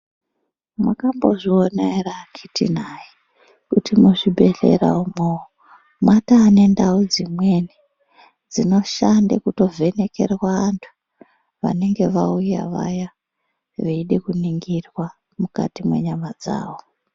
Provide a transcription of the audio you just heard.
Mwakambozviona ere akiti nayi kuti muzvibhedhlera umwo mwataa nendau dzimweni dzinoshande kutovhenekerwa antu vanenge vauya vaya veide kuningirwa mukati mwenyama dzawo.